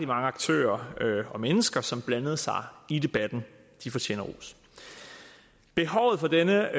mange aktører og mennesker som blandede sig i debatten de fortjener ros behovet for denne